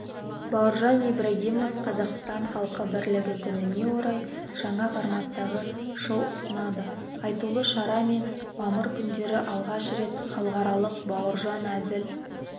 бауыржан ибрагимов қазақстан халқы бірлігі күніне орай жаңа форматтағы шоу ұсынады айтулы шара және мамыр күндері алғаш рет халықаралық бауыржан әзіл